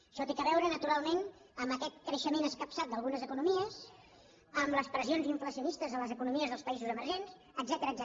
això té a veure naturalment amb aquest creixement escapçat d’algunes economies amb les pressions inflacionistes a les economies dels països emergents etcètera